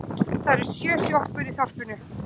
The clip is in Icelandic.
Það eru sjö sjoppur í þorpinu!